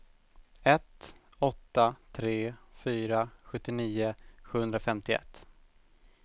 ett åtta tre fyra sjuttionio sjuhundrafemtioett